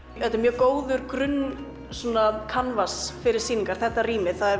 þetta er mjög góður grunn fyrir sýningar þetta rými